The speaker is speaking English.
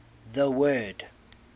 the word